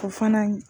O fana ye